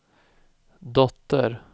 dotter